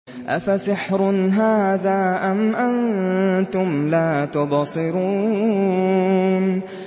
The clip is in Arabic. أَفَسِحْرٌ هَٰذَا أَمْ أَنتُمْ لَا تُبْصِرُونَ